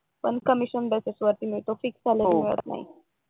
पण commission basis वर मिळत फिक्स स्लरीवर नाही